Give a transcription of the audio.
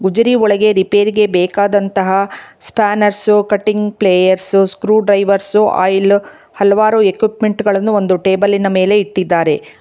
ಗುಜರಿ ಒಳಗಡೆ ರಿಪೇರಿಗೆ ಬೇಕಾದಂತಹ spanners cutting pliers screwdriver oil ಹಲವಾರು ಎಕುಪ್ಮೆಂಟ್ ಗಳನ್ನು ಟೇಬಲಿನ ಮೇಲೆ ಇಟ್ಟಿದ್ದಾರೆ.